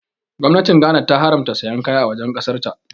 Gwamnatin Ghana ta haramta sayan kaya a wajen ƙasar ta